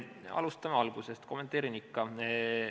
Alustame algusest, kommenteerin ikka.